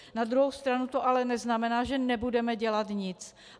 Na druhou stranu to ale neznamená, že nebudeme dělat nic.